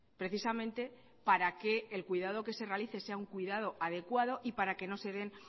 precisamente para que el cuidado que se realice sea un cuidado adecuado y para que no se den